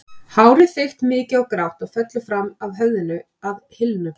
Hárið þykkt, mikið og grátt og fellur fram af höfðinu að hylnum.